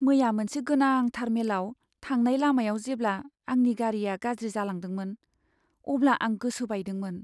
मैया मोनसे गोनांथार मेलाव थांनाय लामायाव जेब्ला आंनि गारिआ गाज्रि जालांदोंमोन अब्ला आं गोसो बायदोंमोन।